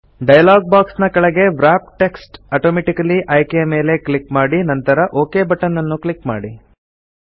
dialogue box ನ ಕೆಳಗೆ wrap text automatically ಆಯ್ಕೆಯ ಮೇಲೆ ಕ್ಲಿಕ್ ಮಾಡಿ ನಂತರ ಒಕ್ ಬಟನ್ ಅನ್ನು ಕ್ಲಿಕ್ ಮಾಡಿ